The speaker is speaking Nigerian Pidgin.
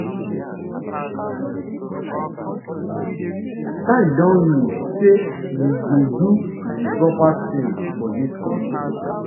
time don reach say we go do di proper tins for dis kontri